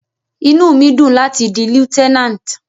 Inú mi dùn láti di Lieutenant.